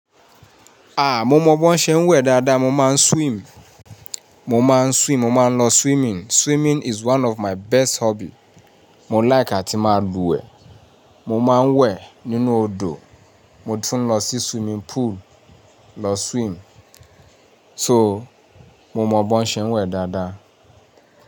A! Mo mọ bí wọ́n ṣe ń wẹ̀ dáadáa. Mo máa ń swim. Mo máa ń swim. Mo máa ń lọ swimming. Swimming is one of my best hobby. Mo like àti máa luwẹ̀. Mo máa ń wẹ̀ nínú odò. Mo tún lọ sí swimming pool lọ swim. So, mo mọ bí wọ́n ṣe ń wẹ̀ dáadáa.